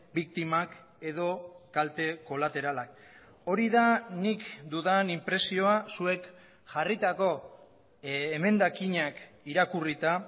biktimak edo kalte kolateralak hori da nik dudan inpresioa zuek jarritako emendakinak irakurrita